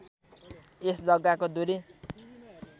यस जग्गाको दूरी